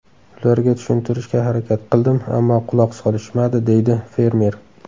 Ularga tushuntirishga harakat qildim, ammo quloq solishmadi”, deydi fermer.